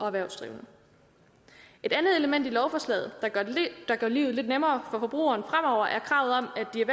erhvervsdrivende et andet element i lovforslaget der gør livet lidt nemmere forbrugeren fremover er kravet om at de